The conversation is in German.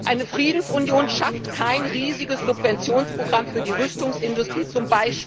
Eine Friedensunion schafft kein riesiges Subventionsprogramm für die Rüstungsindustrie z.